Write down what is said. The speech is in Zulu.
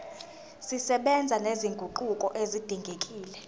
zisebenza nezinguquko ezidingekile